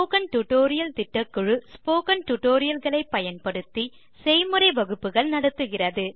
spoken tutorial திட்டக்குழு spoken tutorial களை பயன்படுத்தி செய்முறை வகுப்புகள் நடத்துகிறது